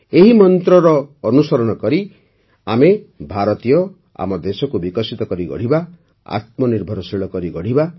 ଏହି ମନ୍ତ୍ରର ଅନୁସରଣ କରି ଆମେ ଭାରତୀୟ ଆମ ଦେଶକୁ ବିକଶିତ କରି ଗଢ଼ିବା ଆତ୍ମନିର୍ଭରଶୀଳ କରିବା